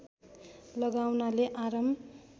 लगाउनाले आराम